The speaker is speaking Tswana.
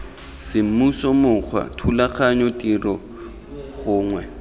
semmuso mokgwa thulaganyo tiro gongwe